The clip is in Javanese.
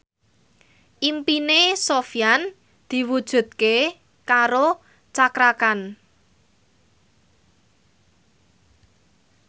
impine Sofyan diwujudke karo Cakra Khan